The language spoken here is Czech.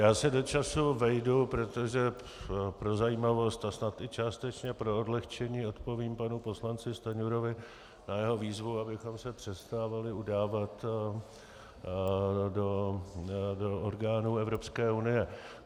Já se do času vejdu, protože pro zajímavost a snad i částečně pro odlehčení odpovím panu poslanci Stanjurovi na jeho výzvu, abychom se přestávali udávat do orgánů Evropské unie.